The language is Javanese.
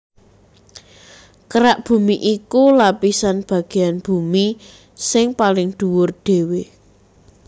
Kerak bumi iku lapisan bagéyan bumi sing paling dhuwur dhéwé